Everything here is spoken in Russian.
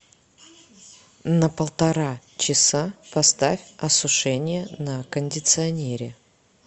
на полтора часа поставь осушение на кондиционере